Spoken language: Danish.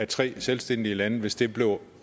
tre selvstændige lande hvis det blev